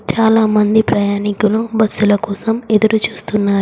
చాలామంది ప్రయాణికులు బస్సుల కోసం ఎదురుచూస్తున్నారు.